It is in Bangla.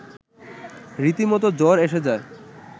রীতিমতো জ্বর এসে যায়